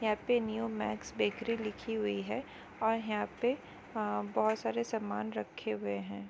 यहाँ पे New Max Bakery लिखी हुई है और यहां पे अ--बहुत सारे सामान रखे हुए हैं।